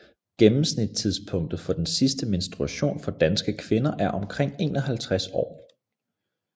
Gennemsnitstidspunktet for den sidste menstruation for danske kvinder er omkring 51 år